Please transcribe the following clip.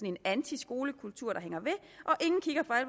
en antiskolekultur der hænger ved